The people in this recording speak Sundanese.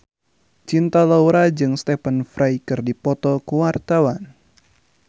Cinta Laura jeung Stephen Fry keur dipoto ku wartawan